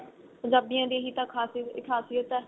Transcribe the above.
ਪੰਜਾਬੀਆਂ ਦੀ ਇਹੀ ਤਾਂ ਖਾਸੀਅਤ ਖਾਸੀਅਤ ਏ